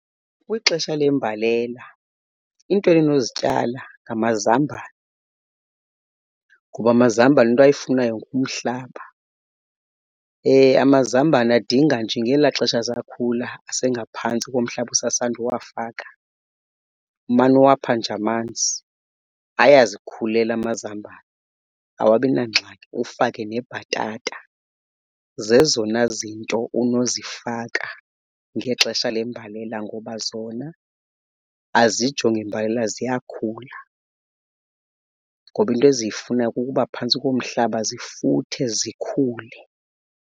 Kwixesha lembalela iinto endinozityala ngamazambane ngoba amazambane into ayifunayo ngumhlaba. Amazambane adinga nje ngelaa xesha asakhula asengaphantsi komhlaba usasanduwafaka umane uwapha nje amanzi. Ayazikhulela amazambane, awabi nangxaki ufake nebhatata. Zezona zinto unozifaka ngexesha lembalela ngoba zona azijongi mbalela ziyakhula. Ngoba into eziyifunayo kukuba phantsi komhlaba zifuthe zikhule.